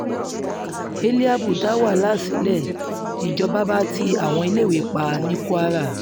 hélíábù dá wàhálà sílẹ̀ níjọba bá ti àwọn iléèwé pa ní kwara